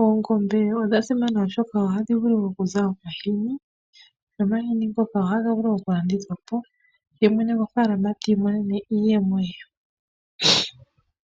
Oongombe odha simana oshoka ohadhi vulu okuza omashini , nomashini ngaka ohaga vulu okulandithwapo ye mwene gofaalama tiimonene iiyemo ye.